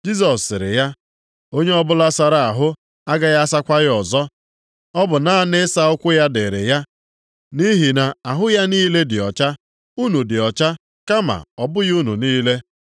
Jisọs sịrị ya, “Onye ọbụla sara ahụ agaghị asakwa ya ọzọ, ọ bụ naanị ịsa ụkwụ ya dịrị ya nʼihi na ahụ ya niile dị ọcha. Unu dị ọcha, kama ọ bụghị unu niile.”